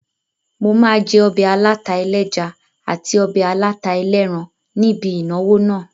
Mo máa jẹ́ obẹ̀ aláta ẹlẹ́ja àti ọbẹ̀ aláta ẹlẹ́ran ní ibi ìnáwó náà